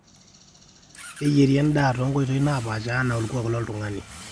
keyieri endaa toonkotoi naapasha enaa olkuak loontung'anak